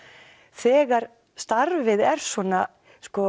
þegar starfið er svona